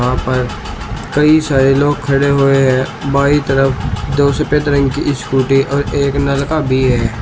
वहां पर कई सारे लोग खड़े हुए हैं बाई तरफ दो सफेद रंग की स्कूटी और एक नलका भी है।